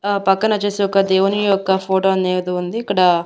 ఆ పక్కన వచ్చేసి ఒక దేవుని యొక్క ఫోటో అని ఏదో ఉంది ఇక్కడ--